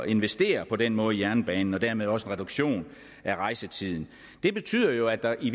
investere på den måde i jernbanen og dermed også opnå reduktion af rejsetiden det betyder jo at der i